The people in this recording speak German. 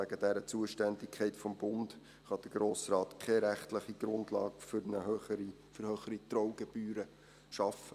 Wegen der Zuständigkeit des Bundes kann der Grosse Rat keine rechtliche Grundlage für höhere Trauungsgebühren schaffen.